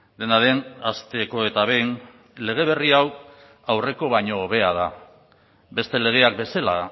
dena den hasteko eta behin lege berri hau aurreko baino hobea da beste legeak bezala